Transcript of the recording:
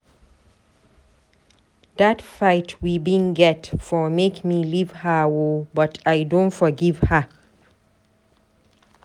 Dat fight wey we bin get for make me leave her o, but I don forgive her.